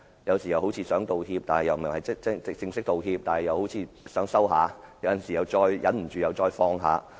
有時他似乎想道歉，但卻沒有正式道歉；他好像想稍作收斂，但過後又忍不住再次放話。